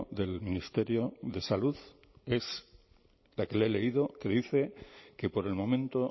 del ministerio de salud es la que le he leído que dice que por el momento